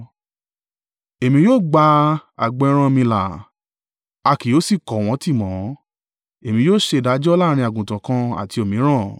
Èmi yóò gba agbo ẹran mi là, a kì yóò sì kò wọ́n tì mọ́. Èmi yóò ṣe ìdájọ́ láàrín àgùntàn kan àti òmíràn.